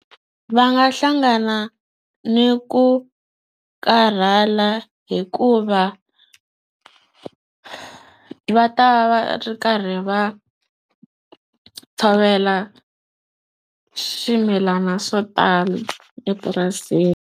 Va nga hlangana ni ku karhala hikuva va ta va ri karhi va tshovela swimilana swo tala epurasini.